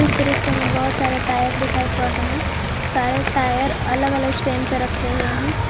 दृश्य में बहोत सारे टायर दिखाई पड़ रहे हैं सारे टायर अलग अलग स्टैंड पर रखे हुए हैं।